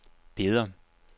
Beder